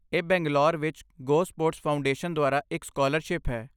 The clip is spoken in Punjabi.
ਇਹ ਬੰਗਲੌਰ ਵਿੱਚ ਗੋਸਪੋਰਟਸ ਫਾਊਂਡੇਸ਼ਨ ਦੁਆਰਾ ਇੱਕ ਸਕਾਲਰਸ਼ਿਪ ਹੈ।